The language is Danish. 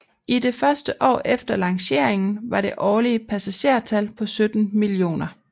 I det første år efter lanceringen var det årlige passagertal på 17 millioner